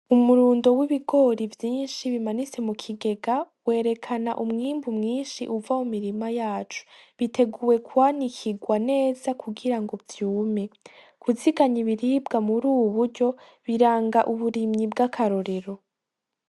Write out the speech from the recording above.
Umurundo w'ibigori vyinshi bimanise mu kigega werekana umwimbu mwinshi uva mu mirima yacu biteguwe kwanikirwa neza kugira ngo vyume guziganya ibiribwa muri uuburyo biranga uburimyi bw'akarorero.